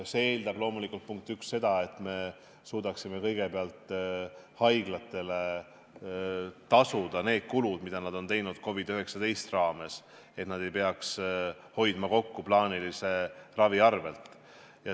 See eeldab loomulikult, punkt üks, seda, et me suudaksime kõigepealt haiglatele tasuda need kulutused, mida nad on teinud COVID-19 tõttu, et nad ei peaks hoidma kokku plaanilise ravi arvel.